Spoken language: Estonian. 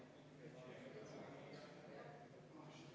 Aitäh, austatud eesistuja!